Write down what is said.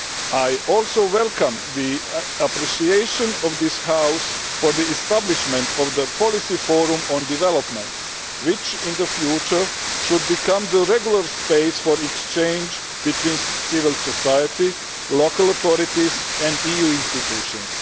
I also welcome the appreciation of this House for the establishment of the Policy Forum on Development, which in the future should become the regular space for exchange between civil society, local authorities and EU institutions.